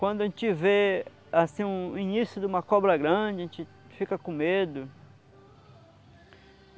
Quando a gente vê assim o o início de uma cobra grande, a gente fica com medo.